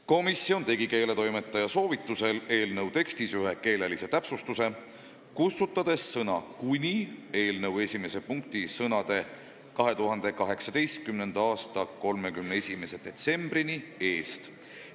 Komisjon tegi keeletoimetaja soovitusel eelnõu tekstis ühe keelelise täpsustuse, kustutades sõna "kuni" eelnõu 1. punkti sõnade "2018. aasta 31. detsembrini" eest.